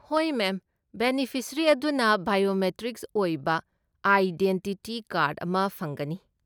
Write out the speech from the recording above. ꯍꯣꯏ, ma'am! Beneficiary ꯑꯗꯨꯅ biometric ꯑꯣꯏꯕ ꯑꯥꯏꯗꯦꯟꯇꯤꯇꯤ ꯀꯥꯔꯗ ꯑꯃ ꯐꯪꯒꯅꯤ꯫